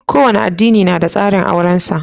Kowane adini na da tsarin auren sa